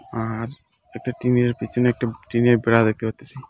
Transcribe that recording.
আর একটা টিনের পিছনে একটা টিনের বেরা দেখতে পারতিসি ।